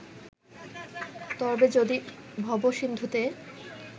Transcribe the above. তরবে যদি ভবসিন্ধুতে